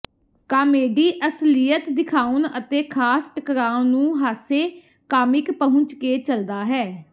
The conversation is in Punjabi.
ਕਾਮੇਡੀ ਅਸਲੀਅਤ ਦਿਖਾਉਣ ਅਤੇ ਖਾਸ ਟਕਰਾਅ ਨੂੰ ਹਾਸੇ ਕਾਮਿਕ ਪਹੁੰਚ ਕੇ ਚੱਲਦਾ ਹੈ